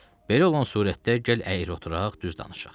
Belə olan surətdə gəl əyri oturaq, düz danışaq.